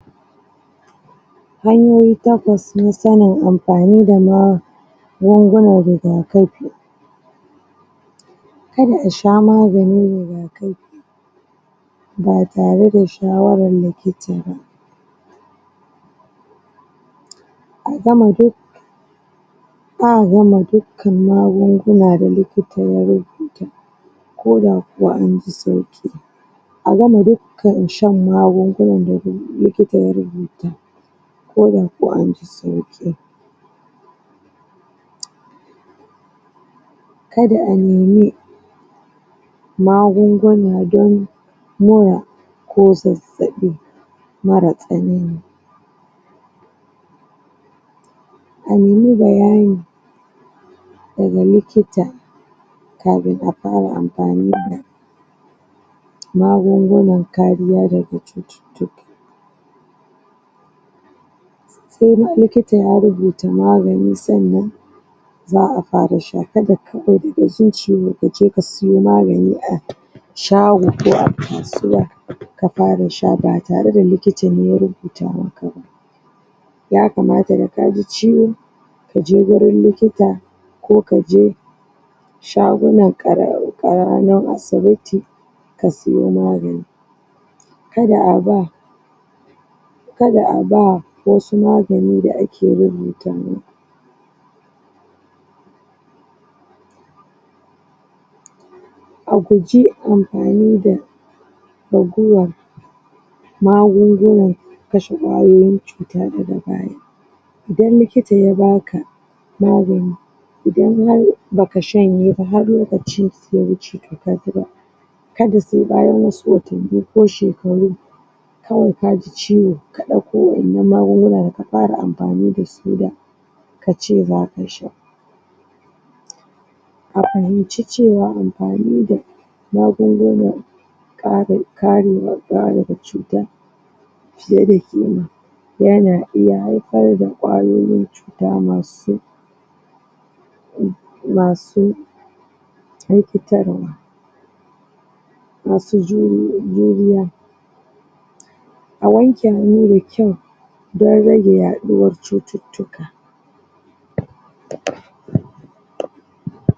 Hanyoyi takwas nasani amfani da ma gungunan riga kafi kada asha maganin riga kafi batare da shawaran likitaba agama duk za a gama duk kan magunguna da likita ya rubuta koda kuwa anji sauki agama duk ka shan magungunan da li kita ya rubuta koda ko anji sauki kada anemi magunguna don mura ko zazzaɓi mara tsanani anemi bayani daga likita kafin afara amfani da magungunan kariya daga cucuctuk koma likita ya rubuta magani sannan za a fara sha kada kawai daga zuciyo kaje kasuyo magani a shago ko a kasuwa kafara sha ba tare da likita ne ya rubutamaka ba yakamata da kaji ciwo kaje gurin likita ko kaje shaguna karah karamin asibiti kasiyo magani kad aba kada aba wasu magani da a ke rubutamin a guji amfani da raguwan magungunan kashe kwayoyin cuta daga baya idan likita yabaka magani idan har baka shanyeba har lokaci yawuce to kakira kada se bayan wasuwatanni ko shekaru kawai kaji ciwo ka ɗauko wayanan magungunan ka ƙara amfani dasu da tace zaka sha a'azumci cewa amfani da magungunan kare, karewa, kare daga cuta fiye da ƙima yana iya hayfar da kwayoyin da masu masu na fitarwa masu juri, juriya a wanke hannu da kyau dan rage raɗuwar cucuctuka